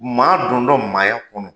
Maa dondɔ maaya kɔnɔ.